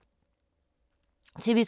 TV 2